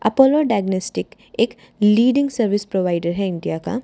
Apollo diagnostic एक leading service provider हैं India का।